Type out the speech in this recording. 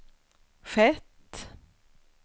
skett